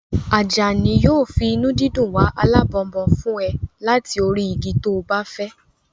Àjàní yóò fi ìdùnnú wá alábọnbon fún ẹ láti orí igi to bá fẹ́